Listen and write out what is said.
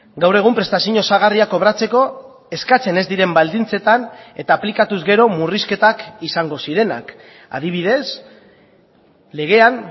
gaur egun prestazio osagarria kobratzeko eskatzen ez diren baldintzetan eta aplikatuz gero murrizketak izango zirenak adibidez legean